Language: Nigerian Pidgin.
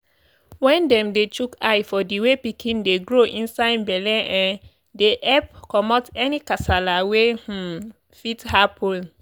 wen dem dey chook eye for the way pikin dey grow inside belle um dey epp commot any kasala wey um fit happens